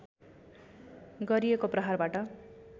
गरिएको प्रहारबाट